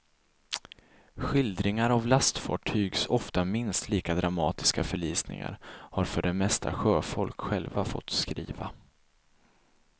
Skildringar av lastfartygs ofta minst lika dramatiska förlisningar har för det mesta sjöfolk själva fått skriva.